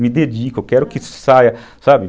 Me dedico, eu quero que saia, sabe?